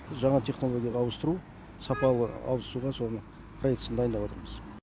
жаңа технологияға ауыстыру сапалы ауызсуға соны проектісін дайындаватрмыз